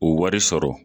O wari sɔrɔ